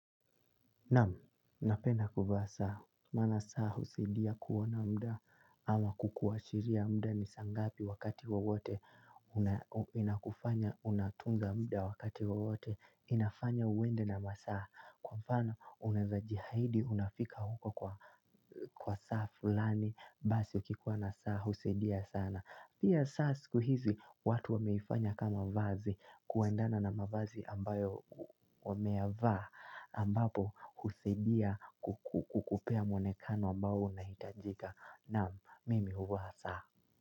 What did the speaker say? Naam, napenda kuvaa saa, maana saa husidia kuona mda ama kukuashiria mda ni saa ngapi wakati wowote inakufanya unatunza mda wakati wowote inafanya uende na masaa. Kwa mfano, unaeza jiahidi unafika huko kwa kwa saa fulani basi ukikuwa na saa husidia sana. Pia saa siku hizi watu wameifanya kama vazi kuendana na mavazi ambayo wameyavaa ambapo husaidia kukupea mwonekano ambao una hitajika. Naam mimi huvaa saa.